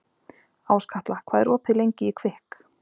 Áskatla, hvað er opið lengi í Kvikk?